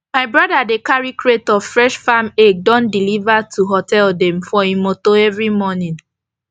my broda dey carry crate of fresh farm egg don deliver to hotel dem for e motor everi morning